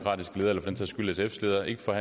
for